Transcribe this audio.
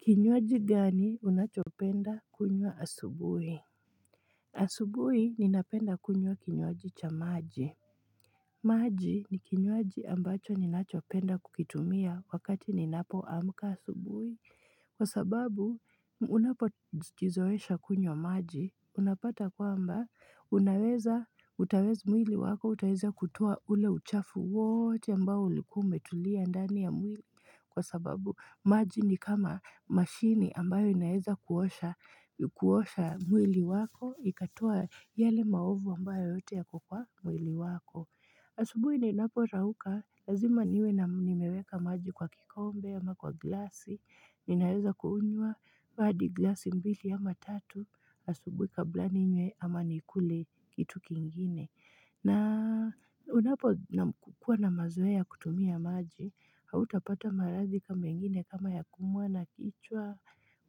Kinywaji gani unachopenda kunywa asubui? Asubui ninapenda kunywa kinywaji cha maji maji ni kinywaji ambacho ninachopenda kukitumia wakati ninapoamka asubui Kwa sababu, unapojizoesha kunywa maji, unapata kwamba, unaweza, utawe mwili wako, utaeza kutoa ule uchafu wote ambao ulikuwa umetulia ndani ya mwili. Kwa sababu, maji ni kama mashini ambayo inaweza kuosha kuosha mwili wako, ikatoa yale maovu ambayo yote yako kwa mwili wako. Asubui ninaporauka, lazima niwe na nimeweka maji kwa kikombe ama kwa glasi, ninaweza kunywa hadi glasi mbili ama tatu, asubui kabla ninywe ama nikule kitu kingine. Na unapo na kukuwa na mazoea ya kutumia maji, hautapata maradhi kama mengine kama ya kuumwa na kichwa,